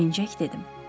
Sevinəcək dedim.